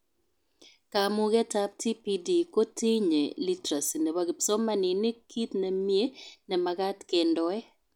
Kamugetab TPD kotinyee literacy nebo kipsomanink kit nemie nemagat kendoe